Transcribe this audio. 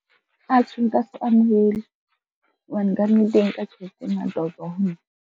Atjhe, nka se amohele, hobane ka nnete e nka tjhelete e ngata ho tswa ho nna.